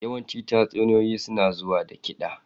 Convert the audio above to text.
Yawancin tatsuniyoyi suna zuwa da kiɗa.